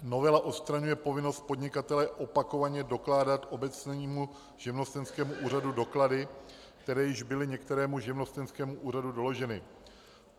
Novela odstraňuje povinnost podnikatele opakovaně dokládat obecnímu živnostenskému úřadu doklady, které již byly některému živnostenskému úřadu doloženy.